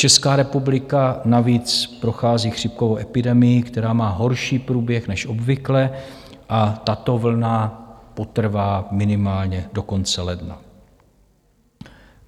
Česká republika navíc prochází chřipkovou epidemii, která má horší průběh než obvykle a tato vlna potrvá minimálně do konce ledna.